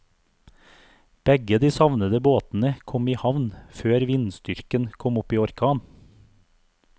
Begge de savnede båtene kom i havn før vindstyrken kom opp i orkan.